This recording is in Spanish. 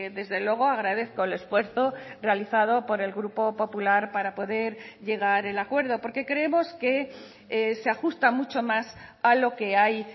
desde luego agradezco el esfuerzo realizado por el grupo popular para poder llegar el acuerdo porque creemos que se ajusta mucho más a lo que hay